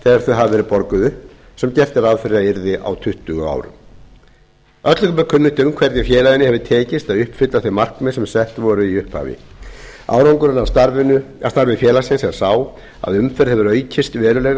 þegar þau hafa verið borguð upp sem gert var ráð fyrir að yrði á tuttugu árum öllum er kunnugt hvernig félaginu hefur tekist að uppfylla þau markmið sem sett voru í upphafi árangurinn af starfi félagsins er sá að umferð hefur aukist verulega